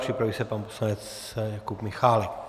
Připraví se pan poslanec Jakub Michálek.